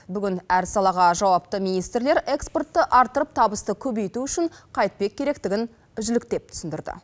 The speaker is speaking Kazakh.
бүгін әр салаға жауапты министрлер экспортты арттырып табысты көбейту үшін қайтпек керектігін жіліктеп түсіндірді